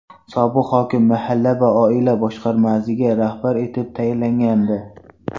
Sobiq hokim mahalla va oila boshqarmasiga rahbar etib tayinlangandi.